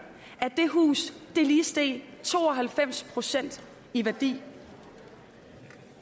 at det hus lige steg to og halvfems procent i værdi